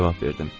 Cavab verdim.